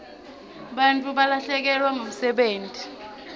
bantfu balahlekelwa ngumsebenti